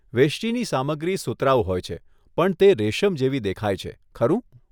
વેષ્ટિની સામગ્રી સુતરાઉ હોય છે, પણ તે રેશમ જેવી દેખાય છે, ખરું?